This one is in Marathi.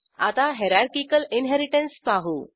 आता हायरार्किकल इनहेरिटन्स पाहू